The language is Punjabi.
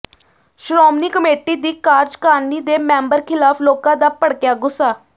ਸ਼੍ਰੋਮਣੀ ਕਮੇਟੀ ਦੀ ਕਾਰਜਕਾਰਨੀ ਦੇ ਮੈਂਬਰ ਖ਼ਿਲਾਫ਼ ਲੋਕਾਂ ਦਾ ਭਡ਼ਕਿਆ ਗੁੱਸਾ